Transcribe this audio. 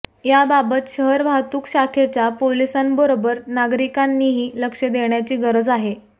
याबाबत शहर वाहतूक शाखेच्या पोलिसांबरोबर नागरिकांनीही लक्ष देण्याची गरज आहे